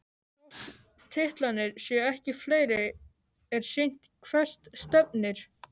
Þótt titlarnir séu ekki fleiri er sýnt hvert stefnir.